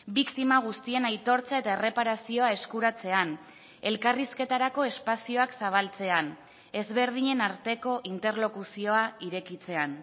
biktima guztien aitortza eta erreparazioa eskuratzean elkarrizketarako espazioak zabaltzean ezberdinen arteko interlokuzioa irekitzean